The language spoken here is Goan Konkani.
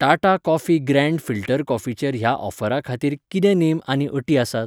टाटा कॉफी ग्रॅँड फिल्टर कॉफीचेर ह्या ऑफरा खातीर कितें नेम आनी अटी आसात?